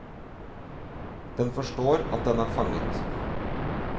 Den forstår at den er fanget.